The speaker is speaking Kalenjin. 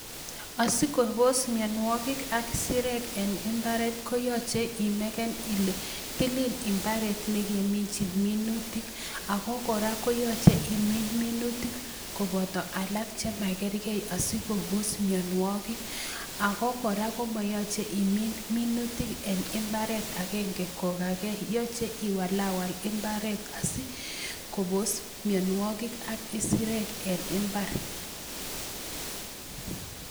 Asikonos mionwogiik ak isirek en imbaret koyoche imeken Ile tilil imbaret nekeminyin minutia okora koyoche imin minutik koboto alak chemakerkei asikoboos mionwogiik ako kora kora komoyoche imin minutik imbaret agenge kokakee. yoche iwaliwal imbaret asikobos mionwogik ak isirek en imbar